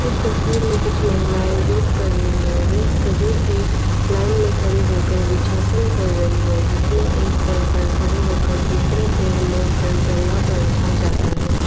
तस्वीर में कुछ महिलाएं योग कर रही है वे सभी एक लाइन में खड़ी होकर वृक्षासन कर रही है जिसमें एक पैर पर खड़े होकर दूसरे पैर मोड़कर जंघा पर रखा जाता है।